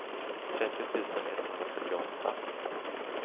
trettio tusen etthundrafyrtioåtta